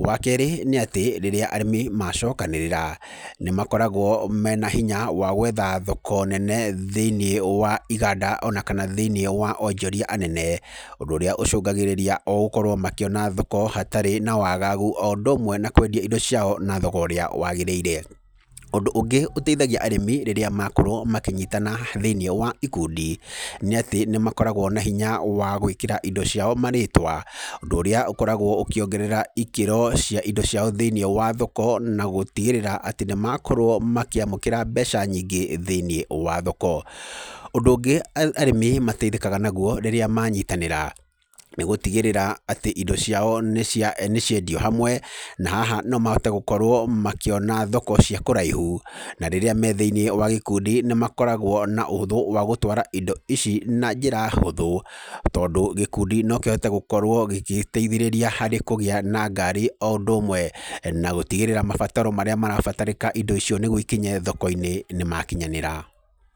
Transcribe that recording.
Wa keerĩ nĩ atĩ, rĩrĩa arĩmi macokanĩrĩra, nĩ makoragwo mena hinya wa gwetha thoko nene thĩiniĩ wa iganda ona kana thĩiniĩ wa onjoria anene. Ũndũ ũrĩa ũcũngagĩrĩria o gũkorwo makĩona thoko hatarĩ wa wagagu, o ũndũ ũmwe na kwendia indo ciao na thogora ũrĩa wagĩrĩire. Ũndũ ũngĩ ũteithagia arĩmi rĩrĩa makorwo makĩnyitana thĩiniĩ wa ikundi, nĩ atĩ nĩ makoragwo na hinya wa gwĩkĩra indo ciao marĩtwa. Ũndũ ũrĩa ũkoragwo ũkĩongerera ikĩro cia indo ciao thĩiniĩ wa thoko, na gũtigĩrĩra nĩ makorwo makĩamũkĩra mbeca nyingĩ thĩiniĩ wa thoko. Ũndũ ũngĩ arĩmi mateithĩkaga naguo rĩrĩa manyitanĩra, nĩ gũtigĩrĩra atĩ indo ciao nĩ nĩ ciendio hamwe, na haha no mahote gũkorwo makĩona thoko cia kũraihu. Na rĩrĩa me thĩiniĩ wa gĩkundi nĩ makoragwo na ũhũthũ wa gũtwara indo ici na njĩra hũthũ. Tondũ gĩkundi no kĩhote gũkorwo gĩgĩteithĩrĩria harĩ kũgĩa na ngari o ũndũ ũmwe na gũtigĩrĩra mabataro marĩa marabatarĩka indo icio nĩguo ikinye thoko-inĩ nĩ makinyanĩra.